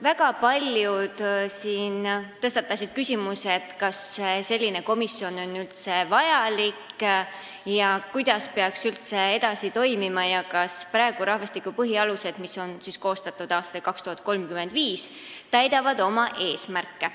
Väga paljud siin tõstatasid küsimuse, kas selline komisjon on üldse vajalik, kuidas peaks edasi toimima ja kas rahvastikupoliitika põhialused, mis on koostatud aastani 2035, täidavad oma eesmärke.